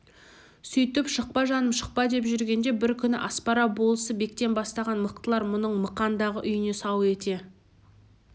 сөйтіп шықпа жаным шықпа деп жүргенде бір күні аспара болысы бектен бастаған мықтылар мұның мықандағы үйіне сау ете